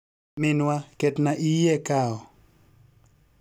minwa ketna iyie kawo